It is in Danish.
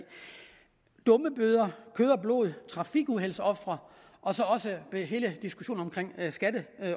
dummebøder mennesker kød og blod trafikuheldsofre og så også hele diskussionen